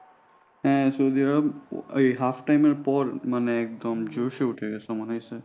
হ্যাঁ Saudi Arab ওই half time এরপর মানে একদম জোশে উঠে গেছিল মনে হইসে।